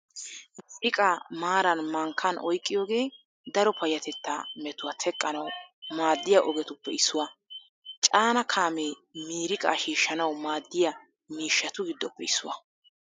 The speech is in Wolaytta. Miiriqaa maaran mankkan oyqqiyogee daro payyatettaa metuwaa teqqanawu maaddiya ogetuppe issuwaa . Caanaa kaamee miiriqaa shiishshanawu maaddiya miishshatu giddoppe issuwaa.